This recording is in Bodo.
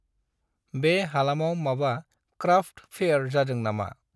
बे हालामाव माबा क्राफ्त फैयर जादों ना मा?